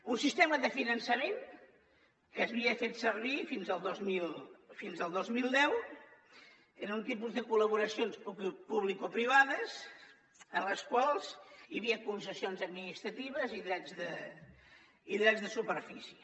un sistema de finançament que s’havia fet servir fins al dos mil deu era un tipus de col·laboracions publicoprivades en les quals hi havia concessions administratives i drets de superfície